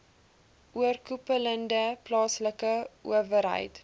oorkoepelende plaaslike owerheid